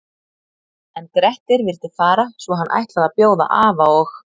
En Grettir vildi fara svo hann ætlaði að bjóða afa og